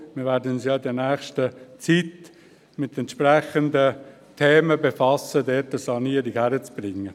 Wir werden uns ja in nächster Zeit mit entsprechenden Themen befassen, um dort eine Sanierung hinzukriegen.